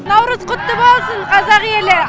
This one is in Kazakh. наурыз құтты болсын қазақ елі